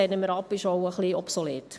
Sie sind auch ein bisschen obsolet.